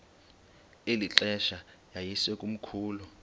eli xesha yayisekomkhulu